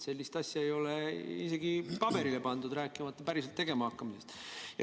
Sellist asja ei ole isegi paberile pandud, rääkimata päriselt tegema hakkamisest.